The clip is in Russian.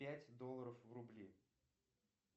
пять долларов в рубли